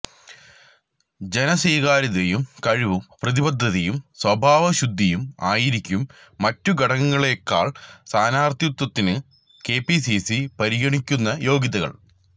ജനസ്വീകാര്യതയും കഴിവും പ്രതിബദ്ധതയും സ്വാഭാവശുദ്ധിയും ആയിരിക്കും മറ്റുഘടകങ്ങളെക്കാൾ സ്ഥാനാർത്ഥിത്വത്തിന് കെപിസിസി പരിഗണിക്കുന്ന യോഗ്യതകൾ